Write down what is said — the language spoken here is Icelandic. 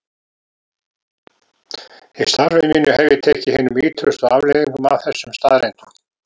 Í starfi mínu hef ég tekið hinum ýtrustu afleiðingum af þessum staðreyndum.